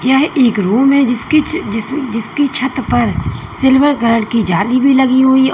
यह एक रूम है जिसकी छ जिस जिसकी छत पर सिल्वर कलर की जाली भी लगी हुई हुई औ--